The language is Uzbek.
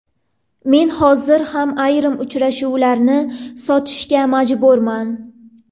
Men hozir ham ayrim uchrashuvlarimni sotishga majburman.